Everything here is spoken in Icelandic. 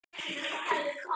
Spyrnir við fótum.